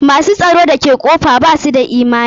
Ma s u tsaro da ke kofa ba su da imani.